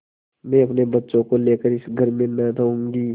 मैं अपने बच्चों को लेकर इस घर में न रहूँगी